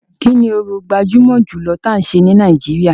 Kini orò gbajúmọ̀ jùlọ tí a ń ṣe ní Nàìjíríà.